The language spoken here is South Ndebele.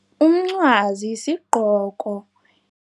Umncwazi sigqoko.